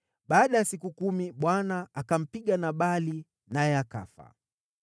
Baada ya siku kumi, Bwana akampiga Nabali, naye akafa.